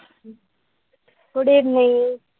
Good evening